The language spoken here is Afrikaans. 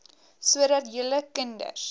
sodat julle kinders